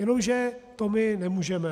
Jenomže to my nemůžeme.